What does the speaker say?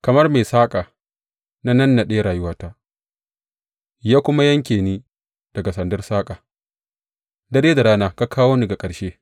Kamar mai saƙa, na nannaɗe rayuwata, ya kuma yanke ni daga sandar saƙa; dare da rana ka kawo ni ga ƙarshe.